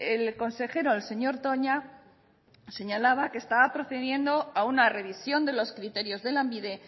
el consejero el señor toña señalaba que estaba procediendo a una revisión de los criterios de lanbide